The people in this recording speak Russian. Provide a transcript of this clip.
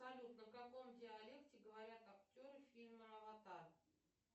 салют на каком диалекте говорят актеры фильма аватар